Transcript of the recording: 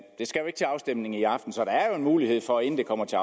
skal jo ikke til afstemning i aften så der er trods alt en mulighed for inden det kommer til